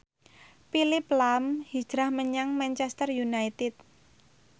Phillip lahm hijrah menyang Manchester united